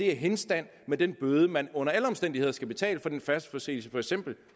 er henstand med den bøde man under alle omstændigheder skal betale for den færdselsforseelse